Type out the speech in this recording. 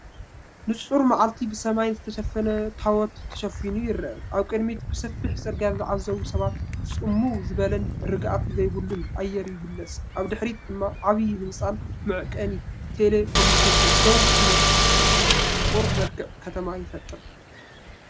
ንጹር መዓልቲ ብሰማይ ዝተሸፈነ ታቦት ተሸፊኑ ይርአ። ኣብ ቅድሚት ብሰፊሕ ጽርግያ ዝጓዓዙ ሰባትን ጽምው ዝበለን ርግኣት ዘይብሉን ኣየር ይግለጽ። ኣብ ድሕሪት ድማ ዓቢ ህንጻን መዐቀኒ ቴሌኮሙኒኬሽንን ደው ኢሎም ፍቑር መልክዕ ከተማ ይፈጥር።